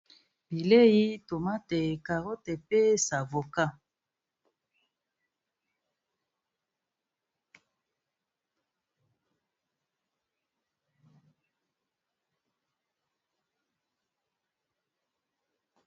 Bileyi tomate carote pe savoka.